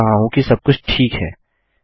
देख रहा हूँ कि सबकुछ ठीक है